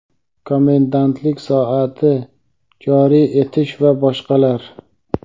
komendantlik soati joriy etish va boshqalar).